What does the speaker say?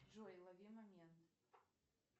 джой лови момент